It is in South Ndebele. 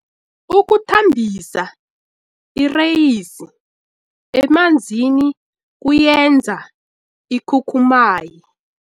Ukuthambisa ireyisi emanzini kuyenza ikhukhumaye.